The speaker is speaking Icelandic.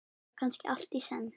Eða kannski allt í senn?